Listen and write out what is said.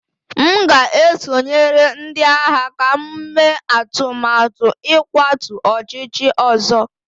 M ga-esonyere ndị agha ka m mee atụmatụ ịkwatu ọchịchị ọzọ